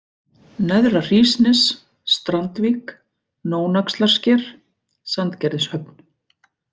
Neðra-Hrísnes, Strandvík, Nónaxlarsker, Sandgerðishöfn